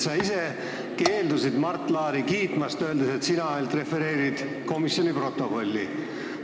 Sa ise keeldusid Mart Laari kiitmast, öeldes, et sina ainult refereerid komisjoni protokolli.